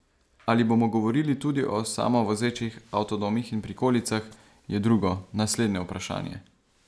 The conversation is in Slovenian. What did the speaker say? Ali bomo govorili tudi o samovozečih avtodomih in prikolicah, je drugo, naslednje vprašanje.